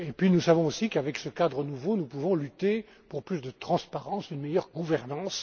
Nous savons aussi qu'avec ce cadre nouveau, nous pouvons lutter pour plus de transparence et une meilleure gouvernance.